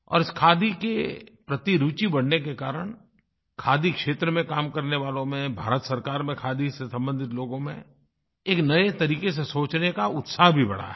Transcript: और इस खादी के प्रति रुचि बढ़ने के कारण खादी क्षेत्र में काम करने वालो में भारत सरकार में खादी से संबंधित लोगों में एक नये तरीक़े से सोचने का उत्साह भी बढ़ा है